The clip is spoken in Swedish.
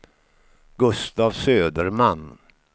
Gustaf Söderman